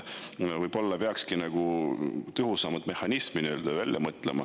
Võib-olla peakski välja mõtlema tõhusama mehhanismi.